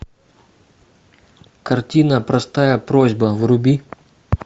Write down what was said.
картина простая просьба вруби